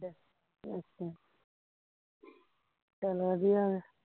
ਅੱਛਾ ਚੱਲ ਵਧੀਆ ਫਿਰ